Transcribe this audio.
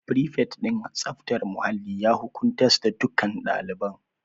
Frifet din tsaftar muhalli ya hukuntas dukkan ɗaliban